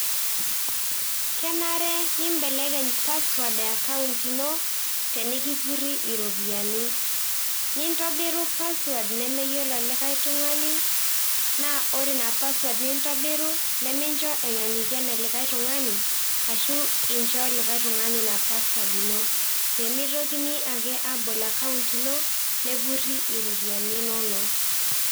kenare nimbelekeny password e account ino tenikipuri iropiyiani .nintobiru password nemeyiolo likae tungani, naa ore ina password nintobiru nimincho enyanyuku ene likae tungani ashu incho likae tungani ina password ino pemitokini ake abol account ino ,nepuri iropiyiani inono.